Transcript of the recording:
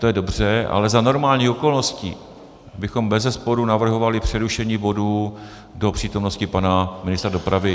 To je dobře, ale za normálních okolností bychom bezesporu navrhovali přerušení bodu do přítomnosti pana ministra dopravy.